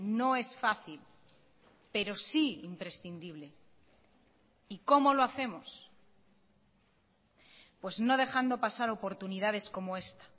no es fácil pero sí imprescindible y cómo lo hacemos pues no dejando pasar oportunidades como esta